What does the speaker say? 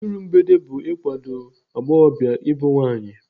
Iru mgbede bụ ikwado agbọghọbịa ịbụ nwaanyị.